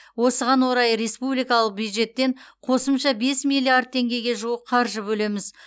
осыған орай республикалық бюджеттен қосымша бес миллиард теңгеге жуық қаржы бөлеміз